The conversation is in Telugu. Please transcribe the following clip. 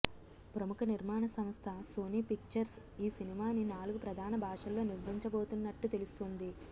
ప్రముఖ నిర్మాణ సంస్థ సోనీ పిక్చర్స్ ఈ సినిమాని నాలుగు ప్రధాన భాషల్లో నిర్మించబోతున్నట్టు తెలుస్తుంది